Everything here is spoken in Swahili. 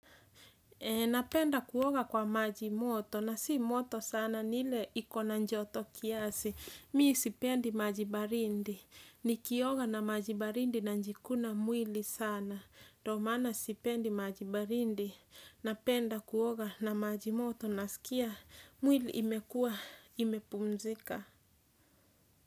Napenda kuoga kwa majimoto na si moto sana ni ile iko na joto kiasi. Mimi sipendi maji baridi. Nikioga na maji baridi na najikuna mwili sana. Ndo maana sipendi maji baridi napenda kuoga na majimoto nasikia mwili imekua imepumzika.